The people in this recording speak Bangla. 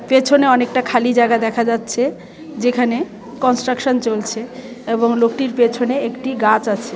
পেছনে অনেকটা খালি জায়গা দেখা যাচ্ছে যেখানে কনস্ট্রাকশন চলছে এবং লোকটির পেছনে একটি গাছ আছে .